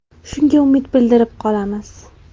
Shunga umid bildirib qolamiz.